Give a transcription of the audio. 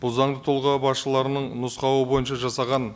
бұл заңды тұлға басшыларының нұсқауы бойынша жасаған